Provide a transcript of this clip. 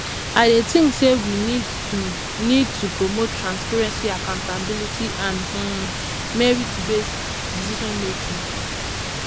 i dey think say we need to need to promote transparency accountability and um merit based decision making